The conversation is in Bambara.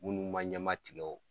Munnu ma ɲɛmatigɛ ɔ